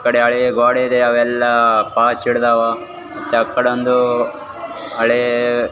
ಈ ಕಡೆ ಹಳೆ ಗೋಡಿದೆ ಅವೆಲ್ಲ ಪಾಚಿ ಹಿಡ್ದಾವ ಮತ್ತ್ ಆ ಕಡೆ ಒಂದು ಹಳೆ.